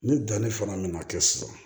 Ni danni fana mina kɛ sisan